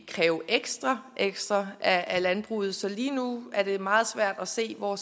kræve ekstra ekstra af landbruget så lige nu er det meget svært at se hvor